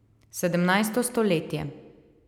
Sedemnajsto stoletje.